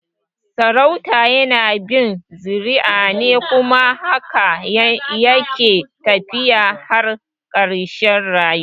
Sarauta yana bin zuriya ne kuma haka yake tafiya har karshe rayuwa